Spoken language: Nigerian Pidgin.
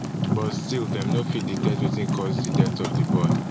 but still dem no fit detect wetin cause di death of di boy